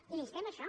i l’instem a això